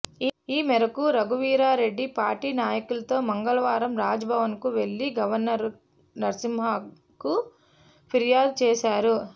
ఈ మేరకు రఘువీరారెడ్డి పార్టీ నాయకులతో మంగళవారం రాజ్భవన్కు వెళ్ళి గవర్నర్ నరసింహన్కు ఫిర్యాదు చేశారు